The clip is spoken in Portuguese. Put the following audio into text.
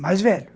Mais velho.